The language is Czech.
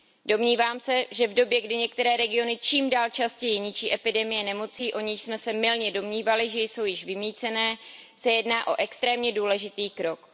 Domnívám se, že v době, kdy některé regiony čím dál častěji ničí epidemie nemocí, o nichž jsme se mylně domnívali, že jsou již vymýcené, se jedná o extrémně důležitý krok.